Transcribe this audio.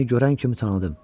Səni görən kimi tanıdım.